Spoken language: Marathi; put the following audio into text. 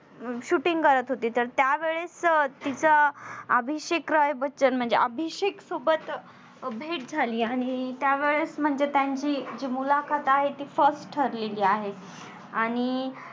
shooting करत होती, तर त्यावेळेस तिच्या आभिषेक राय बच्चन म्हणजे अभिषेक सोबत भेट झाली आणि त्यावेळेस म्हणजे त्यांची जी मुलाखत आहे ती first ठरलेली आहे. आणि